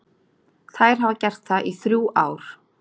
Þær hafa gert það í þrjú ár.